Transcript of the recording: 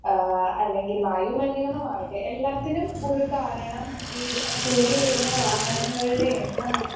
Speaker 1 ഏഹ് അല്ലെങ്കിൽ വായു മലിനീകരണമാകട്ടെ എല്ലാത്തിനും ഒരു കാരണം ഈ കൂടി വരുന്ന വാഹനങ്ങളുടെ എണ്ണമാണ്.